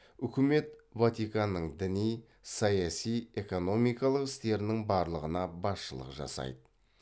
үкімет ватиканның діни саяси экономикалық істерінің барлығына басшылық жасайды